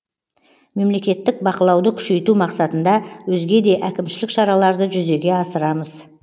мемлекеттік бақылауды күшейту мақсатында өзге де әкімшілік шараларды жүзеге асырамыз